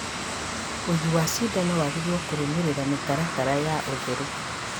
ũĩigi wa cindano wagĩrĩirwo kũrũmĩrĩra mĩtaratara ya ũtheru